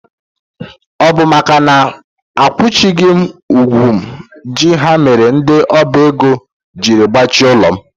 Ọ bụ makana a kwụchaghị m ụgwọ m ji ha mere ndị ọba ego jiri gbachie ụlọ m.